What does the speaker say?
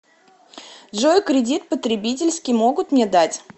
джой кридит потребительский могут мне дать